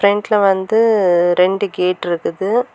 ஃப்ரண்ட்ல வந்து ரெண்டு கேட் இருக்குது.